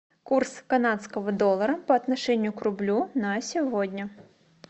курс канадского доллара по отношению к рублю на сегодня